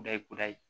Da ye kudayi